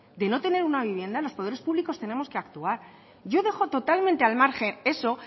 de no tener una vivienda los poderes públicos debemos actuar yo dejo totalmente al margen eso